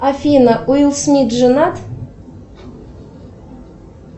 афина уилл смит женат